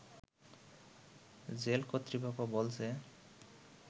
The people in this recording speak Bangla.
জেল কর্তৃপক্ষ বলছে